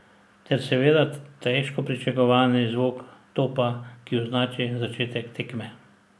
Ter seveda težko pričakovani zvok topa, ki označi začetek tekme.